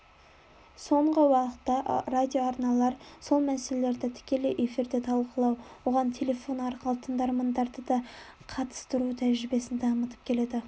соңғы уақытта радиоарналар сол мәселелерді тікелей эфирде талқылау оған телефон арқылы тыңдармандарды да қатыстыру тәжірибесін дамытып келеді